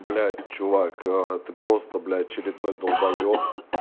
блять чувак ты просто блять очередной долбаеб